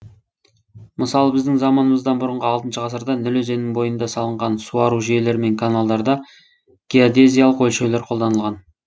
мысалы біздің заманымыздан бұрынғы алтыншы ғасырда ніл өзенінің бойында салынған суару жүйелері мен каналдарда геодезиялық өлшеулер қолданылған